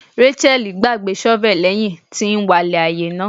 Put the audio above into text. Racheal gbagbe shovel lẹhin ti n walẹ ni aaye naa